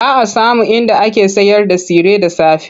Ba a samun inda ake sayarda tsire da safe.